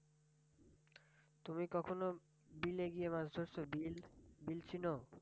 তুমি কখনো বিলে গিয়ে মাছ ধরছ? বিল বিল চিনো?